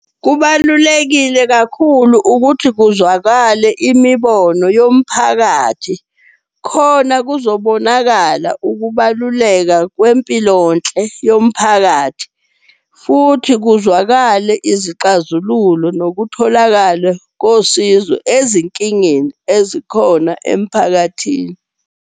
Kubalulekile kakhulu ukuthi kuzwakale imibono yomphakathi, khona kuzobonakala ukubaluleka kwempilonhle yomphakathi. Futhi kuzwakale izixazululo nokutholakala kosizo ezinkingeni ezikhona emphakathini.